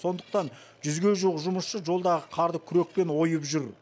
сондықтан жүзге жуық жұмысшы жолдағы қарды күрекпен ойып жүр